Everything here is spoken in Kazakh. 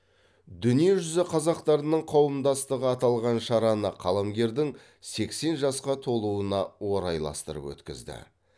дүние жүзі қазақтарының қауымдастығы аталған шараны қаламгердің сексен жасқа толуына орайластырып өткізді